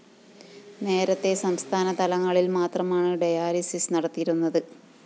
നേരത്തേ സംസ്ഥാന തലസ്ഥാനങ്ങളില്‍ മാത്രമാണു ഡയാലിസിസ്‌ നടത്തിയിരുന്നത്